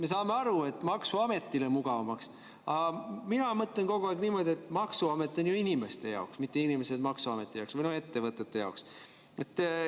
Me saame aru, et maksuametile mugavamaks, aga mina mõtlen kogu aeg niimoodi, et maksuamet on ju inimeste jaoks, mitte inimesed maksuameti jaoks või ettevõtete jaoks.